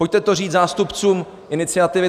Pojďte to říct zástupcům iniciativy